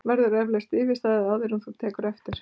Verður eflaust yfirstaðið, áður en þú tekur eftir?!